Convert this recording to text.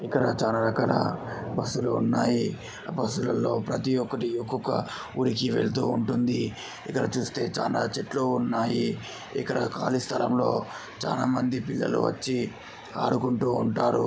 చాలా రకాల బస్సు లు ఉన్నాయి. బస్సు లలో ప్రతి ఒక్కటి ఒక్కొక్క ఊరికి వెళ్తూ ఉంటుంది. ఇక్కడ చూస్తే చాలా చెట్లు ఉన్నాయి. ఇక్కడ ఖాళీ స్థలంలో చాలా మంది పిల్లలు వచ్చి ఆడుకుంటూ ఉంటారు.